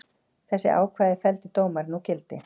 Þessi ákvæði felldi dómarinn úr gildi